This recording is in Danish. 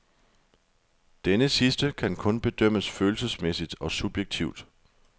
Denne sidste kan kun bedømmes følelsesmæssigt og subjektivt.